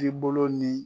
I bolo ni